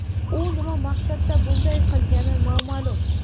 U nima maqsadda bunday qilgani noma’lum.